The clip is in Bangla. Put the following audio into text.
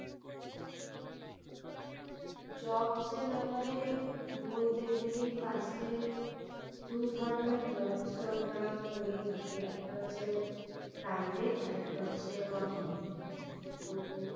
Jobs এর ব্যাপারে বলতে গেলেই first এ দু ধরণের jobs তো আমরা করে থাকি একটা হচ্ছে private আর একটা হচ্ছে government তো